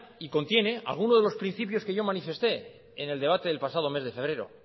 y contiene alguno de los principios que yo manifesté en el debate del mes de febrero